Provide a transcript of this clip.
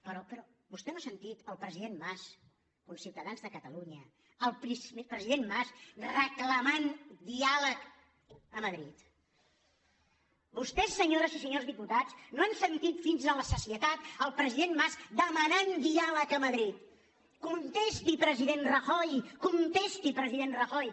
però vostè no ha sentit el president mas conciutadans de catalunya reclamant diàleg a madrid vostès senyores i senyors diputats no han sentit fins a la sacietat el president mas demanat diàleg a madrid contesti president rajoy contesti president ra·joy